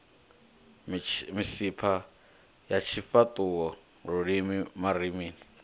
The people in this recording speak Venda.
misipha ya tshifhaṱuwo lulimi marinini